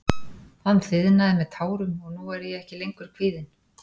Hann þiðnaði með tárum og nú er ég ekki lengur kvíðinn.